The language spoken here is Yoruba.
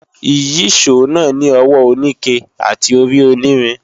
Ìyíṣòó náà ní ọwọ́ oníke àti orí onírin